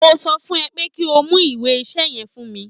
Mo sọ fún ẹ pé kí o mú ìwé iṣẹ́ yẹn fún mi